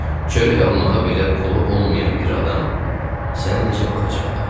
Çörək almağa belə pulu olmayan bir adam sənə necə baxacaqdı?